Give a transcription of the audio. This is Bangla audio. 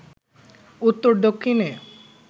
উত্তর দক্ষিণে